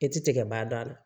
I ti tigɛ ba dɔn a la